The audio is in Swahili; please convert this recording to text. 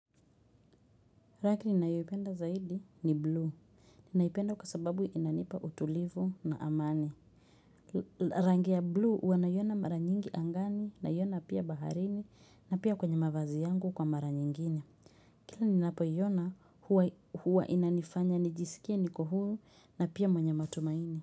Rangi ninayopenda zaidi ni blue. Ninaipenda kwa sababu inanipa utulivu na amani. Rangi ya blue huwa naiona mara nyingi angani naiona pia baharini na pia kwenye mavazi yangu kwa mara nyingine. Kila ninapoiona huwa inanifanya nijisikie niko huru na pia mwenye matumaini.